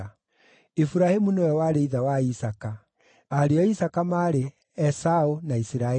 Iburahĩmu nĩwe warĩ ithe wa Isaaka. Ariũ a Isaaka maarĩ: Esaũ na Isiraeli.